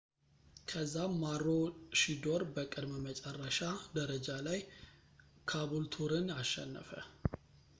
ከዛም ማሮሺዶር በቅድመ-መጨረሻ ደረጃ ላይ ካቡልቱርን አሸነፈ